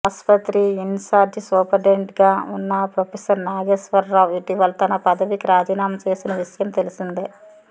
ఆస్పత్రి in charge సూపరింటెండెంట్గా ఉన్న ఫ్రొఫెసర్ నాగేశ్వర్ రావు ఇటీవల తన పదవికి రాజీనామా చేసిన విషయం తెలిసిందే